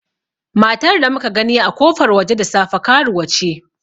Matar da muka gani a kofar waje da safe, karuwa ce.